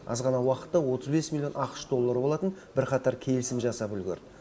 аз ғана уақытта отыз бес миллион ақш доллары болатын бірқатар келісім жасап үлгерді